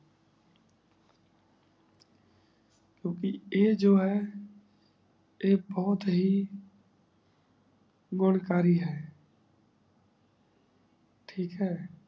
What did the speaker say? ਕੇ ਆਯ ਜੋ ਹੈ ਆਯ ਬੋਹਤ ਹੀ ਗੋਨ ਕਰੀ ਹੈ ਠੀਕ ਹੈ